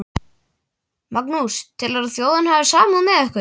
Magnús: Telurðu að þjóðin hafi samúð með ykkur?